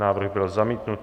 Návrh byl zamítnut.